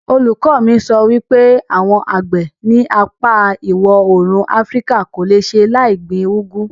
Olùkọ mi sọ wípé àwọn àgbẹ̀ ní apá ìwọ̀òrùn afríkà kò le ṣe láì gbin úgú